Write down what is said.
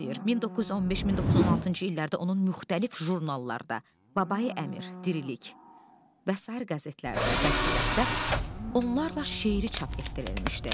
1915-1916-cı illərdə onun müxtəlif jurnallarda, Babai-Əmir, Dirilik, və sair qəzetlərdə, Bəsirətdə onlarla şeiri çap etdirilmişdi.